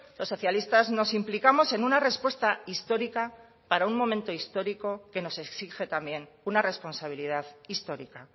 los socialistas nos implicamos en una respuesta histórica para un momento histórico que nos exige también una responsabilidad histórica